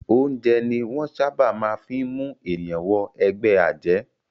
Oúnjẹ ni wọ́n ṣábà máa ń fí mú ènìyàn wọ ẹgbẹ́ àjẹ́.